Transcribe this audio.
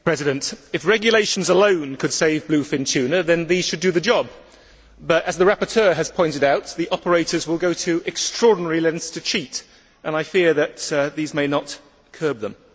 Mr President, if regulations alone could save bluefin tuna then these should do the job but, as the rapporteur has pointed out, the operators will go to extraordinary lengths to cheat, and I fear that these may not curb them.